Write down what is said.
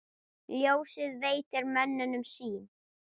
Ljósið veitir mönnum sýn.